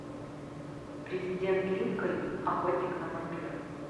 президент линкольн охотник на вампиров